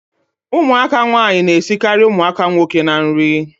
Ụmụaka nwaanyị na-esikarị ụmụaka nwoke na nri